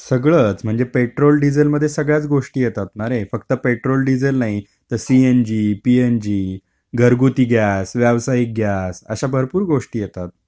सगळचं म्हणजे पेट्रोल डिझेलमध्ये सगळ्याच गोष्टी येतात ना रे. फक्त पेट्रोल डिझेल नाही तर सीएनजी, पीएनजी, घरगुती गॅस, व्यावसायिक गॅस, अशा भरपूर गोष्टी येतात.